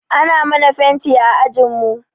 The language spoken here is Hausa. Ana mana fenti a ajinmu.